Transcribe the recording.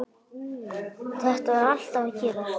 Þetta var alltaf að gerast.